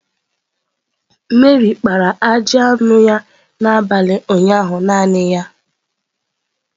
Meri kpara ajị anụ ya n'abalị ụnyaahụ naanị ya.